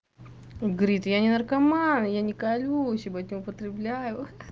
он говорит я не наркоман я не колюсь ебать не употребляю хи-хи